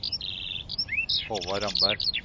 Håvard Ramberg